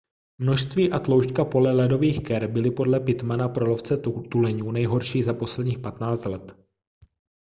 množství a tloušťka pole ledových ker byly podle pittmana pro lovce tuleňů nejhorší za posledních 15 let